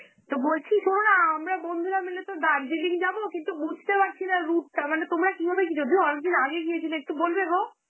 তো বলছি শোনো না আমরা বন্ধুরা মিলে তো দার্জিলিং যাব, কিন্তু বুঝতে পারছি না route টা, মানে তোমরা কিভাবে যদিও অনেকদিন আগে গিয়েছিলে, একটু বলবে গো?